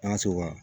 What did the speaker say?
An ka se o kan